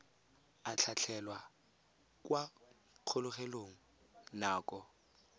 a tlhatlhelwa kwa kgolegelong nako